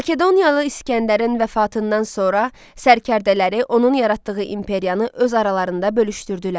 Makedoniyalı İsgəndərin vəfatından sonra sərkərdələri onun yaratdığı imperiyanı öz aralarında bölüşdürdülər.